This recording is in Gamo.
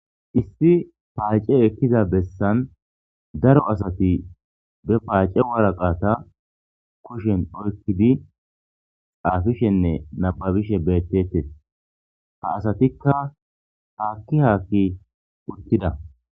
issi paace ekkiza bessan daro asati be paace woraqata kushen oykkidi xaafishenne nababishe beettetes ha asatikka haakki haakki uttida